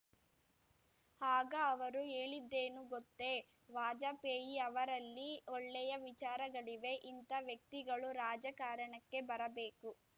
ಆಗ ಅವರು ಹೇಳಿದ್ದೇನು ಗೊತ್ತೇ ವಾಜಪೇಯಿ ಅವರಲ್ಲಿ ಒಳ್ಳೆಯ ವಿಚಾರಗಳಿವೆ ಇಂಥ ವ್ಯಕ್ತಿಗಳು ರಾಜಕಾರಣಕ್ಕೆ ಬರಬೇಕು